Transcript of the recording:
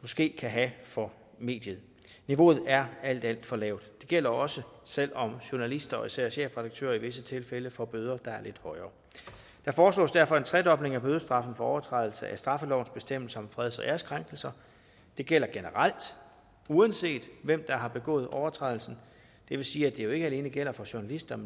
måske kan have for mediet niveauet er alt alt for lavt det gælder også selv om journalister og især chefredaktører i visse tilfælde får bøder der er lidt højere der foreslås derfor en tredobling af bødestraffen for overtrædelse af straffelovens bestemmelse om freds og æreskrænkelser det gælder generelt uanset hvem der har begået overtrædelsen det vil sige at det jo ikke alene gælder for journalister men